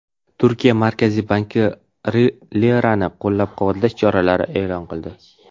Turkiya Markaziy banki lirani qo‘llab-quvvatlash choralarini e’lon qildi.